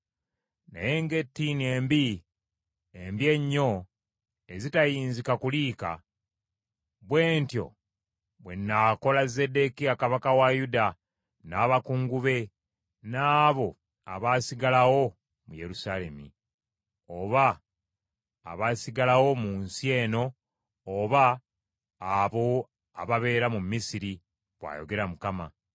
“ ‘Naye ng’ettiini embi, embi ennyo ezitayinzika kuliika, bwe ntyo bwe nnaakola Zeddekiya kabaka wa Yuda, n’abakungu be n’abo abaasigalawo mu Yerusaalemi, oba abaasigalawo mu nsi eno oba abo ababeera mu Misiri,’ bw’ayogera Mukama .